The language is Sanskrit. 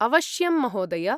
अवश्यं महोदय।